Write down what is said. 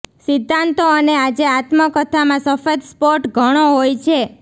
સિદ્ધાંતો અને આજે આત્મકથામાં સફેદ સ્પોટ ઘણો હોય છે